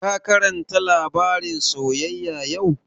Ka karanta labarin soyyaya yau?